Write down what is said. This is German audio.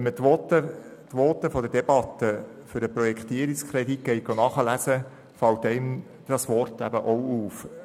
Wenn man die Voten aus der Debatte für den Projektierungskredit nachliest, fällt einem dieses Wort auch auf.